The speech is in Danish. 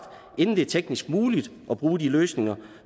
inden det er teknisk muligt at bruge de løsninger